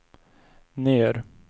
ner